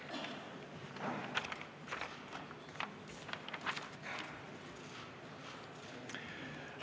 Aitäh!